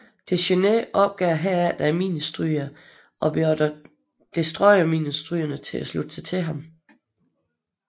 Dechaineux opgav herefter minestrygningen og beordrede destroyerminestrygerne til at slutte sig til ham